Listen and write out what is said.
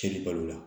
Cɛnni balo la